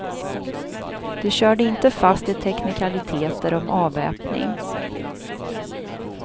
De körde inte fast i teknikaliteter om avväpning.